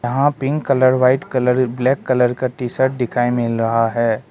यहां pink colour white colour black colour का T shirt दिखाई मिल रहा है।